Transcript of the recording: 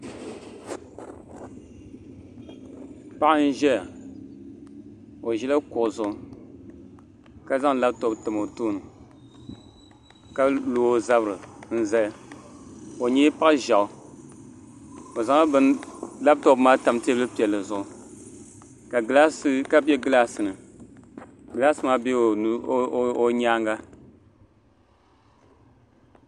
Paɣa n ʒɛya o ʒila kuɣu zuɣu ka zaŋ labtop tam o tooni ka lo o zabiri n zali o nyɛla paɣa ʒiɛɣu o zaŋla labtop maa tam teebuli piɛlli zuɣu ka bɛ gilaasi ni gilaas maa bɛla o nyaanga